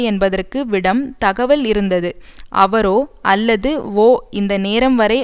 என்பதற்கு விடம் தகவல் இருந்தது அவரோ அல்லது வோ இந்த நேரம்வரை